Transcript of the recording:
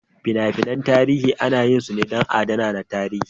Fina-finan tarihi ana yin su ne don adana tarihi.